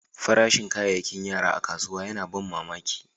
Farashin kayakin yara a kasuwa yana ban mamaki.